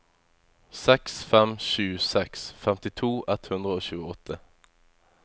seks fem sju seks femtito ett hundre og tjueåtte